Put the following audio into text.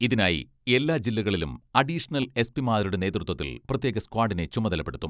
ഇതിനായി എല്ലാ ജില്ലകളിലും അഡീഷണൽ എസ്.പി മാരുടെ നേതൃത്വത്തിൽ പ്രത്യേക സ്ക്വാഡിനെ ചുമതലപ്പെടുത്തും.